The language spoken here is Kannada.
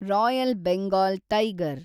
royal Bengal tiger